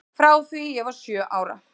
Frá því ég var sjö ára.